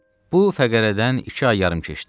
Bu fəqərədən iki ay yarım keçdi.